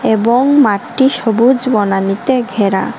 এবং মাঠটি সবুজ বনানীতে ঘেরা।